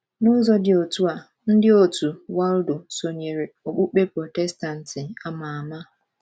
N’ụzọ dị otú a, ndị òtù Waldo sonyeere okpukpe Protestantị a ma ama.